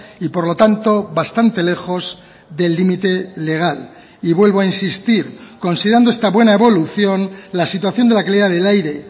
y por lo tanto bastante lejos del límite legal y vuelvo a insistir considerando esta buena evolución la situación de la calidad del aire